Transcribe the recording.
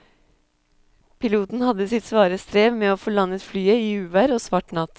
Piloten hadde sitt svare strev med å få landet flyet i uvær og svart natt.